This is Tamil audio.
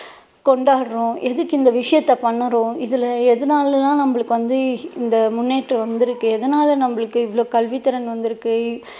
கொண்டாடுறோம் எதுக்கு இந்த விஷயத்தை பண்ணுறோம் இதுல எதனால நமக்கு இந்த முன்னேற்றம் வந்துருக்கு எதனால நம்மளுக்கு இவ்ளோ கல்வி திறன் வந்திருக்கு